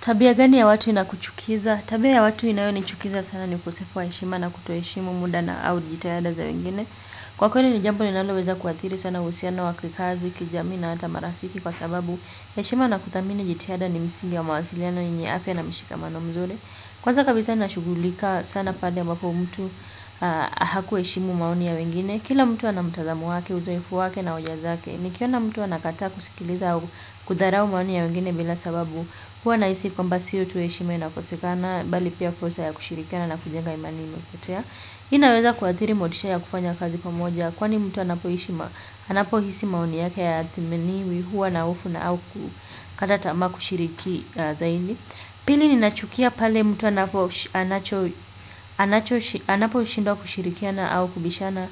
Tabia gani ya watu inakuchukiza? Tabia ya watu inayonichukiza sana ni ukosefu wa heshima na kutoheshimu muda na au jitahada za wengine. Kwa kweli ni jambo linaloweza kuathiri sana uhusiano wa kikazi, kijamii na hata marafiki kwa sababu. Heshima na kuthamini jitahada ni misingi wa mawasiliano yenye afya na mishikamano mzuri. Kwanza kabisa nashugulika sana pale ambapo mtu hakuheshimu maoni ya wengine. Kila mtu ana mtazamo wake, uzoefu wake na hoja zake. Nikiona mtu anakataa kusikiliza kudharau maoni ya wengine bila sababu huwa nahisi kwamba sio tu heshima inakosekana bali pia fursa ya kushirikiana na kujenga imani iliyopotea. Hii inaweza kuathiri motisha ya kufanya kazi pamoja kwani mtu anapohisi maoni yake hayathaminiwi huwa na hofu na au kukata tama kushiriki zaidi. Pili ninachukia pale mtu anapo anaposhindwa kushirikiana au kubishana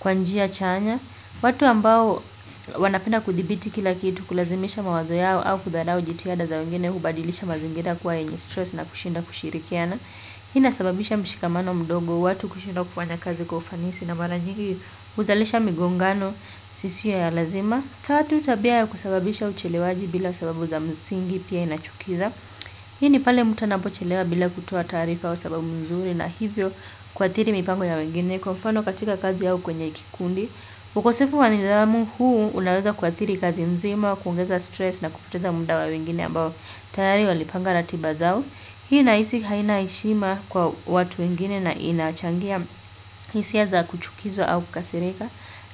kwa njia chanya. Watu ambao wanapenda kuthibiti kila kitu kulazimisha mawazo yao au kudharau jitihada za wengine hubadilisha mazingira kuwa yenye stress na kushinda kushirikiana. Hii inasababisha mshikamano mdogo. Watu kushindwa kufanya kazi kwa ufanisi na mara nyigi huzalisha migongano isiyo ya lazima. Tatu tabia ya kusababisha uchelewaji bila sababu za mzingi pia inachukiza. Hii ni pale mtu anapochelewa bila kutoa taarifa au sababu nzuri na hivyo kuathiri mipango ya wengine kwa mfano katika kazi au kwenye kikundi. Ukosefu wa nidhamu huu unaweza kuathiri kazi nzima. Kuongeza stress na kupoteza muda wa wengine ambao tayari walipanga ratiba zao hii nahisi haina heshima kwa watu wengine na inachangia hisia za kuchukizwa au kukasirika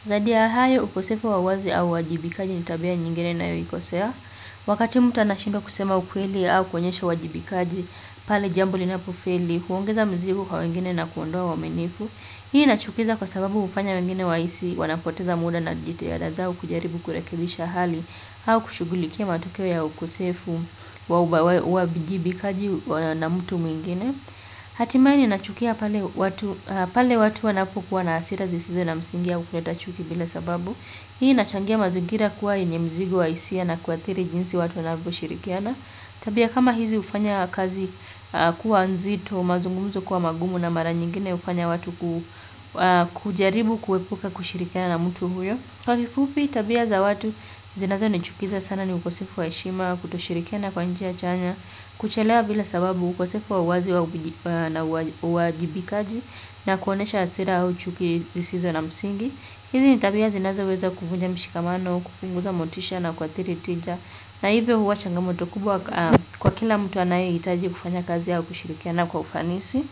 zaidi ya hayo ukosefu wa wazi au wajibikaji ni tabia nyingine nayoikosea wakati mtu anashindwa kusema ukweli au kuonyesha uwajibikaji pale jambo linapofeli huongeza mzigo kwa wengine na kuondoa uaminifu hii inachukiza kwa sababu hufanya wengine wahisi wanapoteza muda na jitihada zao kujaribu kurekebisha hali au kushugulikia matokeo ya ukosefu wa uwajibikaji na mtu mwingine hatimaye nachukia pale watu pale watu wanapokuwa na hasira zisizo na msingi au kuleta chuki bila sababu hii inachangia mazingira kuwa yenye mzigo wa hisia na kuathiri jinsi watu wanavyoshirikiana tabia kama hizi ufanya kazi kuwa nzito mazungumzo kuwa magumu na mara nyingine hufanya watu kujaribu kuepuka kushirikiana na mtu huyo kwa kifupi tabia za watu zinazonichukiza sana ni ukosefu wa heshima kutoshirikiana kwa njia chanya. Kuchelewa bila sababu ukosefu wa uwazi na uwajibikaji na kuonyesha hasira au chuki zisizo na msingi, hizi ni tabia zinazoweza kuvunja mshikamano kupunguza motisha na kuathiri tija na hivyo huwa changamoto kubwa kwa kila mtu anayehitaji kufanya kazi au kushirikiana kwa ufanisi.